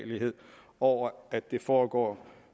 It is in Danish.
over at det foregår